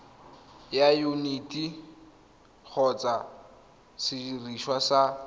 ya yuniti kgotsa sediriswa sa